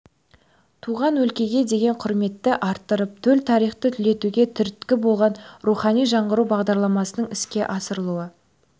туған өлкеге деген құрметті арттырып төл тарихты түлетуге түрткі болады рухани жаңғыру бағдарламасының іске асырылу